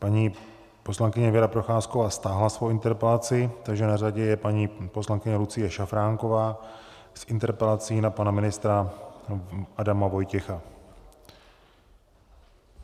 Paní poslankyně Věra Procházková stáhla svoji interpelaci, takže na řadě je paní poslankyně Lucie Šafránková s interpelací na pana ministra Adama Vojtěcha.